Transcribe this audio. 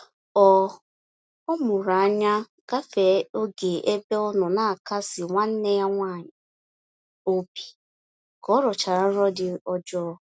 Ọ Ọ mụrụ anya gafee oge ebe ọnọ n'akasi nwanne ya nwaanyị obi ka ọrọchara nrọ dị ọjọọ